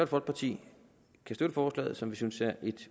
folkeparti støtte forslaget som vi synes er